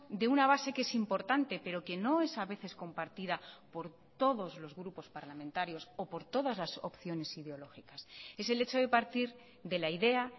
de una base que es importante pero que no es a veces compartida por todos los grupos parlamentarios o por todas las opciones ideológicas es el hecho de partir de la idea